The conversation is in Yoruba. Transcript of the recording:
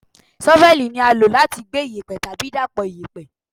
ṣọ́fẹ́lì ni a lo lati gbe iyẹ̀pẹ̀ tabi dapọ iyẹ̀pẹ̀